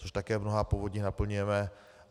Což také v mnohých povodích naplňujeme.